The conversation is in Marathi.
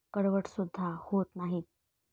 कडवटसुद्धा होत नाहीत.